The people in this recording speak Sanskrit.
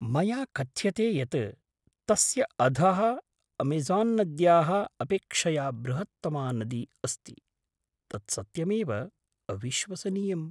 मया कथ्यते यत् तस्य अधः अमेज़ान्नद्याः अपेक्षया बृहत्तमा नदी अस्ति । तत् सत्यमेव अविश्वसनीयम्!